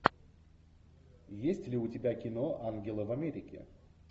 есть ли у тебя кино ангелы в америке